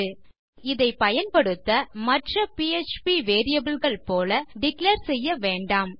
இப்போது இதை பயன்படுத்த மற்ற பிஎச்பி வேரியபிள் கள் போல டிக்ளேர் செய்ய வேண்டாம்